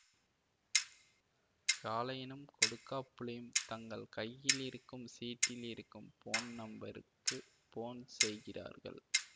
காளையனும் கொடுக்காபுளியும் தங்கள் கையிலிருக்கும் சீட்டில் இருக்கும் போன் நம்பருக்கு போன் செய்கிறார்கள்